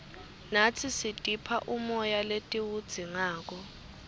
natsi sitipha umoya letiwudzingako